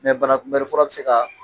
banakunbɛnni fura bɛ se ka